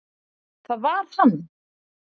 Það var hann.